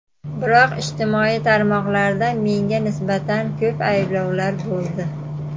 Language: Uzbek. Biroq, ijtimoiy tarmoqlarda menga nisbatan ko‘p ayblovlar bo‘ldi.